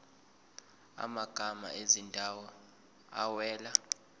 amagama ezindawo awela